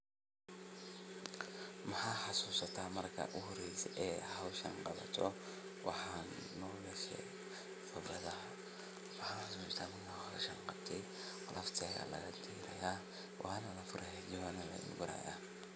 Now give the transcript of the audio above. Maha hasu sata mar ka uhri jehi e Hawsham kabato wahan nolleshe fabrada. Bahasa Melayu sama awak sengaja di love. Saya la raja yang baru. Haji Wan Melaka.